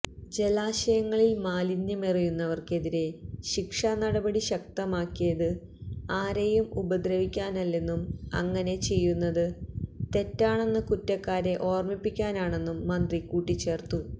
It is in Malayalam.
ജലാശയങ്ങളിൽ മാലിന്യമെറിയുന്നവർക്കെതിരെ ശിക്ഷാ നടപടി ശക്തമാക്കിയത് ആരെയും ഉപദ്രവിക്കാനല്ലെന്നും അങ്ങനെ ചെയ്യുന്നത് തെറ്റാണെന്ന് കുറ്റക്കാരെ ഓർമിപ്പിക്കാനാണെന്നും മന്ത്രി കൂട്ടിച്ചേർത്തു